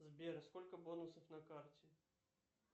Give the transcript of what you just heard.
сбер сколько бонусов на карте